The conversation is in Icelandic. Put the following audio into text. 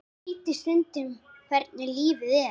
Skrítið stundum hvernig lífið er.